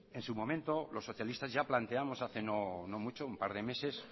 en su momento los socialistas ya planteamos hace no mucho un par de meses